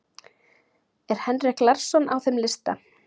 Er Henrik Larsson á þeim lista?